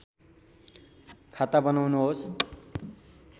खाता बनाउनुहोस्